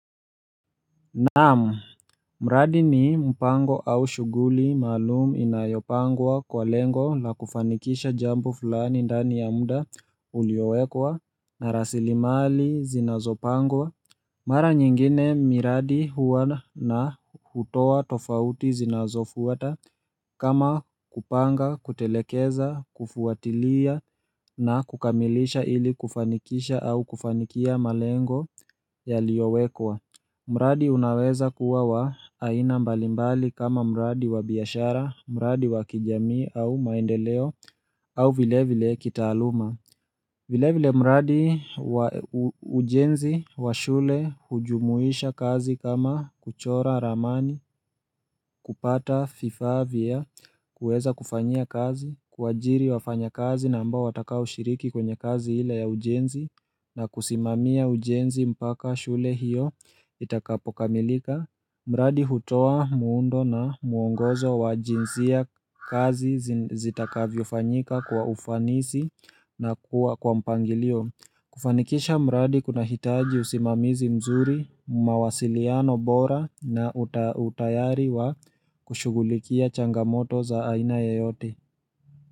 Naam, mradi ni mpango au shughuli maalumu inayopangwa kwa lengo la kufanikisha jambo fulani ndani ya muda uliowekwa na rasilimali zinazopangwa Mara nyingine miradi huwa na hutoa tofauti zinazofuata kama kupanga, kutelekeza, kufuatilia na kukamilisha ili kufanikisha au kufanikia malengo yaliowekwa mradi unaweza kuwa wa aina mbalimbali kama mradi wa biashara, mradi wa kijamii au maendeleo au vile vile kitaaluma. Vile vile mradi ujenzi wa shule hujumuisha kazi kama kuchora ramani, kupata vifaa vya kueza kufanyia kazi, kuajiri wafanya kazi na ambao wataka ushiriki kwenye kazi hile ya ujenzi na kusimamia ujenzi mpaka shule hiyo itakapokamilika. Mradi hutoa muundo na muongozo wa jinsia kazi zitakavyo fanyika kwa ufanisi na kuwa kwa mpangilio. Kufanikisha mradi kuna hitaji usimamizi mzuri, mawasiliano bora na utayari wa kushughulikia changamoto za aina yeyote.